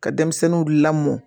Ka denmisɛnninw lamɔ